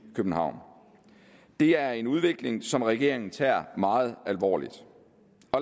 københavn det er en udvikling som regeringen tager meget alvorligt